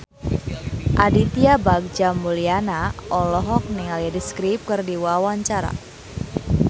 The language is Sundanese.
Aditya Bagja Mulyana olohok ningali The Script keur diwawancara